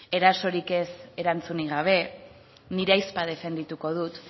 erasorik ez erantzunik gabe nire ahizpa defendituko dut